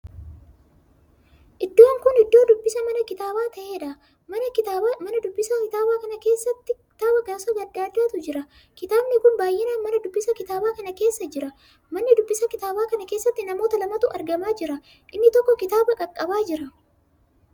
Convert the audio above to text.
Iddoon kun iddoo dubbisa mana kitaaba taheedha. mana dubbisa kitaaba kana keessa kitaaba gosa addaa addaatu jira. kitaabni kun baay'inaan mana dubbisa kitaaba kana keessa jira. mana dubbisa kitaaba kan keessatti namoota lamatu argamaa jira. inni tokko kitaaba qaqqabaa jira.